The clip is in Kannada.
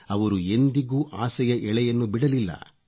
ಅವರು ಎಂದಿಗೂ ಆಸೆಯ ಎಳೆಯನ್ನು ಬಿಡಲಿಲ್ಲ